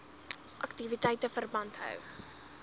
aktiwiteite verband hou